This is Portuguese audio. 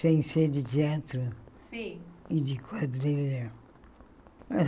Sem ser de teatro Sim E de quadrilha.